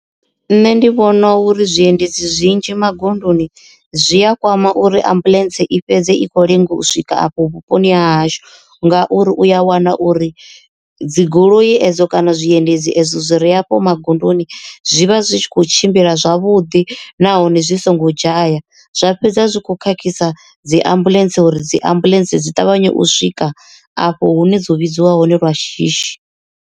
Nṋe ndi vhona uri zwiendedzi zwinzhi magondoni zwi a kwama uri ambuḽentse i fhedze i khou lenga u swika afho vhuponi ha hashu ngauri uya wana uri dzigoloi edzo kana zwiendedzi ezwo zwi re hafho magondoni zwivha zwi tshi kho tshimbila zwavhuḓi nahone zwi songo dzhaya zwa fhedza zwi kho khakhisa dzi ambuḽentse uri dzi ambuḽentse dzi ṱavhanye u swika afho hu ne dzo vhidziwa hone lwa shishi.